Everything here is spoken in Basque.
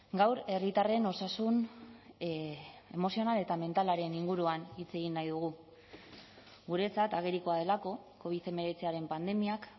gaur herritarren osasun emozional eta mentalaren inguruan hitz egin nahi dugu guretzat agerikoa delako covid hemeretziaren pandemiak